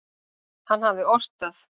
Hann hafði ort það.